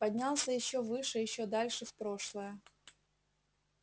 поднялся ещё выше ещё дальше в прошлое